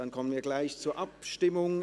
Dann kommen wir gleich zur Abstimmung.